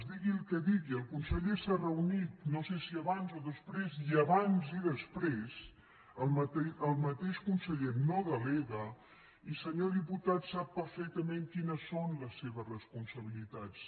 digui el que digui el conseller s’ha reunit no sé si abans o després i abans i després el mateix conseller no delega i senyor diputat sap perfectament quines són les seves responsabilitats